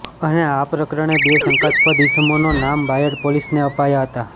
અને આ પ્રકરણે બે શંકાસ્પદ ઈસમોના નામ બાયડ પોલીસને અપાયા હતા